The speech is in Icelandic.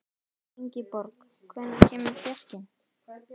Ingiborg, hvenær kemur fjarkinn?